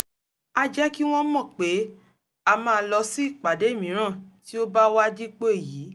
a jẹ́ kí wọ́n mọ̀ pé a máa lọ sí ìpàdé míràn tí ó bá wá dípò èyí